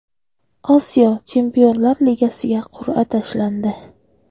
Osiyo Chempionlar Ligasiga qur’a tashlandi.